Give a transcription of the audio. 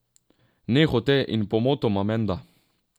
Nehote in pomotoma, menda.